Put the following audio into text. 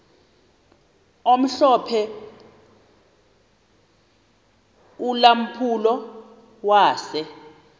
omhlophe ulampulo wase